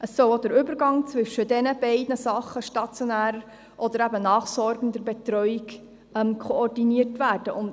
Es soll auch der Übergang zwischen stationärer und nachsorgender Betreuung koordiniert werden.